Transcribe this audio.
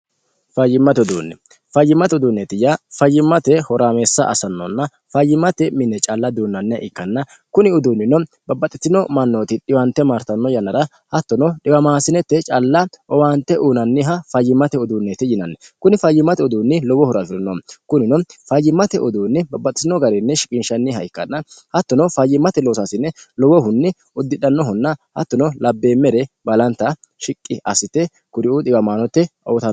fayyimmate uduunni fayyimmate uduunneeti yaa fayyimmate horaameessa asannonna fayyimate minne calla duunnanniha ikkanna kuni uduunnino babbaxxitino mannooti dhiwante martanno yannara hattono dhiwamaasinette calla owaante uunanniha fayyimmate uduunneeti yinanni kuni fayyimmate uduunni lowohurafirino kunino fayyimmate uduunni babbaxxitino garinni shiqiinshanniha ikkanna hattono fayyimmate loosaasine lowohunni uddidhannohunna hattono labbeemmere balanta shiqqi assite kuriuu dhiwamino mannira uyitanno